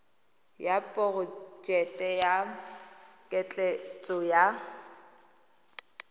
ya porojeke ya ketleetso ya